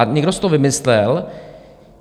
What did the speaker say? A někdo si to vymyslel.